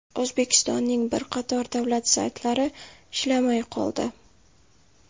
O‘zbekistonning bir qator davlat saytlari ishlamay qoldi .